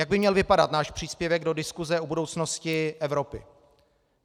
Jak by měl vypadat náš příspěvek do diskuse o budoucnosti Evropy.